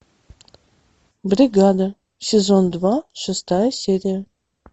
бригада сезон два шестая серия